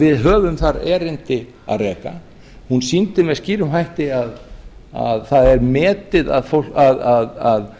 við höfum þar erindi að reka hún sýndi með skýrum hætti að það er metið að